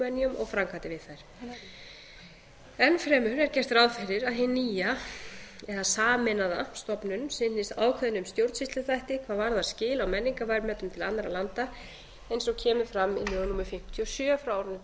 minjum og framkvæmdir við þær enn fremur er gert ráð fyrir að hin nýja sameinaða stofnun sinni ákveðnum stjórnsýsluþætti hvað varaðar skil á menningarverðmætum til annarra landa eins og kemur fram í lögum númer fimmtíu og sjö